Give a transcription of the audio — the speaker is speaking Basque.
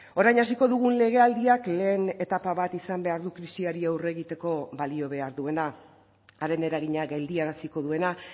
orain hasiko dugun legealdiak lehen etapa bat izan behar du krisiari aurre egiteko balio behar duena haren eragina geldiaraziko duena